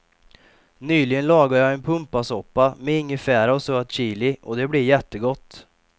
Nyligen lagade jag en pumpasoppa med ingefära och söt chili och det blev jättegott.